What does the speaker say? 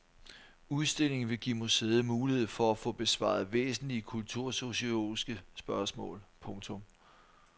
Udstillingen vil give museet mulighed for at få besvare væsentlige kultursociologiske spørgsmål. punktum